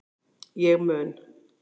Ég mun